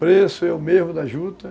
Preço é o mesmo da juta.